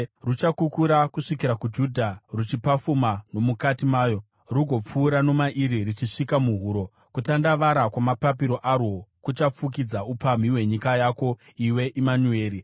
ruchakukura kusvikira kuJudha, ruchipafuma nomukati mayo, rugopfuura nomairi ruchisvika muhuro. Kutandavara kwamapapiro arwo kuchafukidza upamhi hwenyika yako, iwe Imanueri!”